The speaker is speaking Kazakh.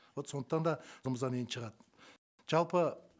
вот сондықтан да енді шығады жалпы